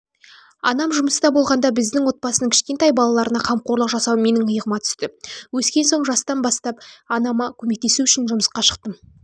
анам жұмыста болғанда біздің отбасының кішкентай балаларына қамқорлық жасау менің иығыма түсті өскен соң жастан бастап анама көмектесу үшін жұмысқа шықтым